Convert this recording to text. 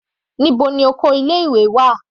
Níbo ni oko ilé ìwé wà.